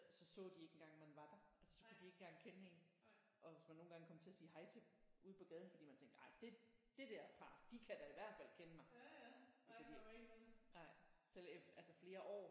Så så de ikke engang at man var der altså så kunne de ikke engang kende en og hvis man nogle gange kom til at sige hej til dem ude på gaden fordi man tænkte ej det det dér par de kan da i hvert fald kende mig det kunne de ikke nej selv efter altså flere år